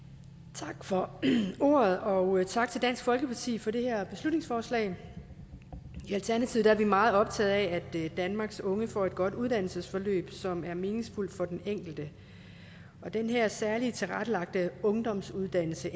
tak for ordet og tak til dansk folkeparti for det her beslutningsforslag i alternativet er vi meget optaget af at danmarks unge får et godt uddannelsesforløb som er meningsfuldt for den enkelte og den her særligt tilrettelagte ungdomsuddannelse